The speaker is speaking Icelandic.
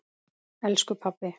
Elsku pabbi.